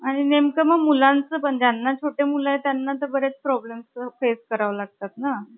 आणि नेमकं मी मुलांचं पण , ज्यांना छोटे मुले आहेत त्यांना पण problem ्स face करावे लागतात ना .